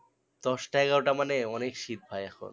দশটা এগারোটা মানে অনেক শীত ভাই এখন